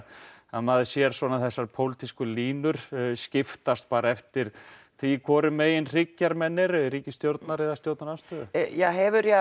maður sér þessar línur skiptast eftir því hvoru megin eru í ríkisstjórn eða stjórnarandstöðu hefur